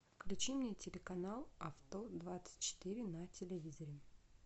включи мне телеканал авто двадцать четыре на телевизоре